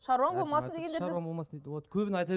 шаруаң болмасын дегендер шаруаң болмасын дейді вот көбіне айта